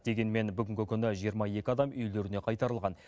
дегенмен бүгінгі күні жиырма екі адам үйлеріне қайтарылған